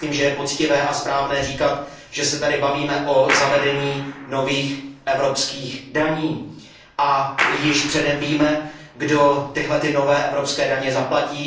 Myslím, že je poctivé a správné říkat, že se tady bavíme o zavedení nových evropských daní a již předem víme, kdo tyhle nové evropské daně zaplatí.